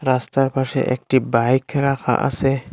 রাস্তার পাশে একটি বাইক রাখা আসে।